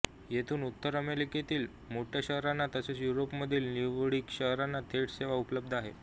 येथून उत्तर अमेरिकेतील मोठ्या शहरांना तसेच युरोपमधील निवडक शहरांना थेट सेवा उपलब्ध आहे